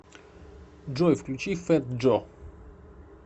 джой включи фэт джо